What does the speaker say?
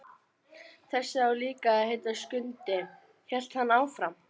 Þessi á líka að heita Skundi, hélt hann áfram.